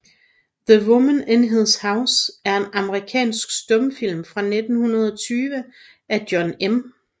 The Woman in His House er en amerikansk stumfilm fra 1920 af John M